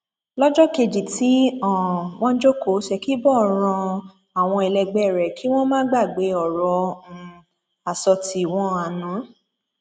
lọjọ kejì tí um wọn jókòó ṣèkìbo rán àwọn ẹlẹgbẹ rẹ kí wọn má gbàgbé ọrọ um àsọtì wọn àná